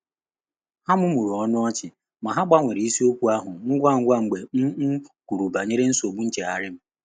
Há mụ́mụ́rụ̀ ọ́nụ́ ọ́chị́ mà há gbànwèèrè ìsíókwú áhụ́ ngwà ngwá mgbe m m kwùrù bànyèrè nsógbú nchéghárị́ m.